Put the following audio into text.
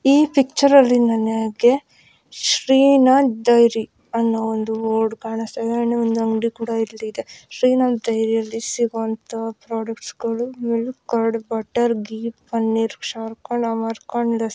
ಈ ಪಿಚ್ಚರ್ ಅಲ್ಲಿ ನಮಗೆ ಶ್ರೀನಾಥ್ ಡೈರಿ ಅಂತ ಬೋರ್ಡ್ ಕಾಣಿಸ್ತಾ ಇದೆ ಅಂಗಡಿ ಕೂಡ ಇದೆ ಶ್ರೀನಾಥ್ ಡೈರಿಯಲ್ಲಿ ಎಲ್ಲಾ ಪ್ರಾಡಕ್ಟ್ಗಳು ಮಿಲ್ಕ್ಸಿ ಕರ್ಡ್ ಬಟರ ಗೀ ಪನೀರ್ ಶ್ರೀಖಂಡ್ ಆಮ್ರಕಂಡ್ --